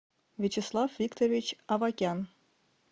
вячеслав викторович авакян